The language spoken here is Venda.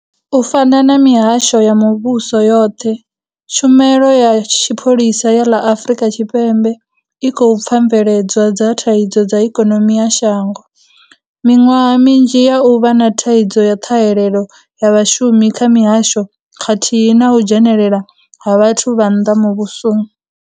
U fana na mihasho ya muvhuso yoṱhe, Tshumelo ya Tshipholisa ya ḽa Afrika Tshipembe i khou pfa mveledzwa dza thaidzo dza ikonimi ya shango, miṅwaha minzhi ya u vha na thaidzo ya ṱhahelelo ya vhashumi kha mihasho khathihi na u dzhenelela ha vhathu vha nnḓa muvhusoni.